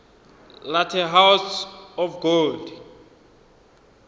la the house of gold